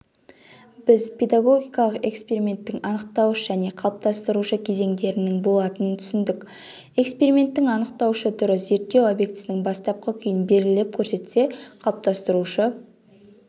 біз педагогикалық эксперименттің анықтауыш және қалыптастырушы кезеңдерінің болатынын түсіндік эксперименттің анықтаушы түрі зерттеу объектісінің бастапқы күйін белгілеп көрсетсе қалыптастырушы